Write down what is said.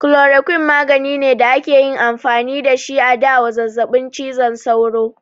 Chloroquine magani ne da akayi amfani da shi a da wa zazzabin cizon sauro